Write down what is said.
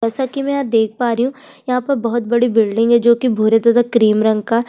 जैसा कि मैं यहाँ देख पा रही हूं यहाँ पर बहोत बड़ी बिल्डिंग है जो कि भूरे तथा क्रीम रंग का --